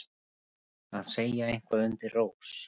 Að segja eitthvað undir rós